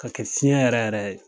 Ka kɛ fiɲɛ yɛrɛ yɛrɛ ye.